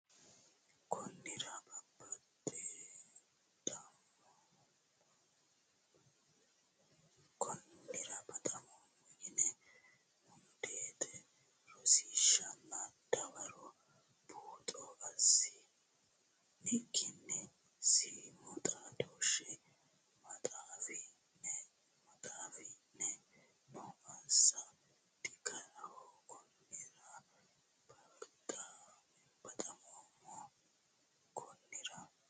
Konnira baxammoommo yine mundeete Rosiishshanna Dawaro buuxo assi ni kkinni siimu xaadooshshe maxaafi ne noo assa digaraho Konnira baxammoommo Konnira.